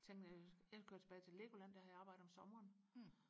tænkte jeg jeg kører tilbage til Legoland der havde jeg arbejdet om sommeren